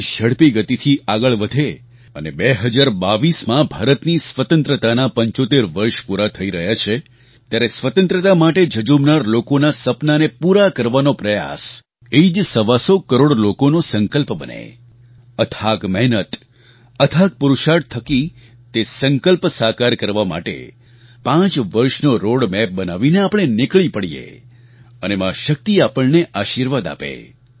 દેશ ઝડપી ગતિથી આગળ વધે અને બે હજાર બાવીસ ૨૦૨૨માં ભારતની સ્વતંત્રતાનાં ૭૫ વર્ષ પૂરાં થઈ રહ્યાં છે ત્યારે સ્વતંત્રતા માટે ઝઝૂમનારા લોકોનાં સપનાંને પૂરા કરવાનો પ્રયાસ એ જ સવાસો કરોડ લોકોનો સંકલ્પ બને અથાગ મહેનત અથાગ પુરુષાર્થ થકી તે સંકલ્પ સાકાર કરવા માટે પાંચ વર્ષનો રૉડ મેપ બનાવીને આપણે નીકળી પડીએ અને મા શક્તિ આપણને આશીર્વાદ આપે